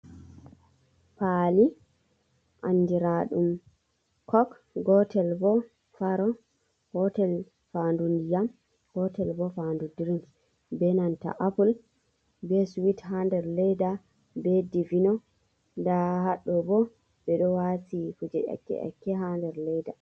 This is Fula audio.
Paali andira ɗum cok, gotel boo faaro, gotel faandu ndiyam, gotel bo faandu dirig, be nanta appul, be suwit, haa nder leeda, be divino, nda haaɗo bo ɓe ɗo waati kuje nyakke-nyakke haa nder leeda.